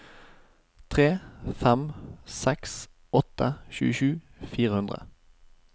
tre fem seks åtte tjuesju fire hundre